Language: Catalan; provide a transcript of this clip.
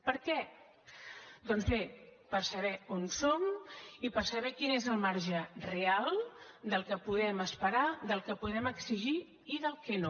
per què doncs bé per saber on som i per saber quin és el marge real del que podem esperar del que podem exigir i del que no